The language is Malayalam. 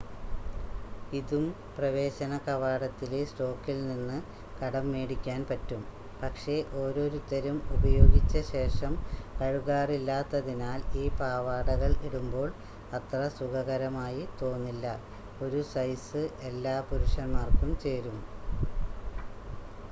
ഇതും പ്രവേശന കവാടത്തിലെ സ്റ്റോക്കിൽ നിന്ന് കടം മേടിക്കാൻ പറ്റും പക്ഷേ ഓരോരുത്തരും ഉപയോഗിച്ചശേഷം കഴുകാറില്ലാത്തതിനാൽ ഈ പാവാടകൾ ഇടുമ്പോൾ അത്ര സുഖകരമായി തോന്നില്ല 1 സൈസ് എല്ലാ പുരുഷന്മാർക്കും ചേരും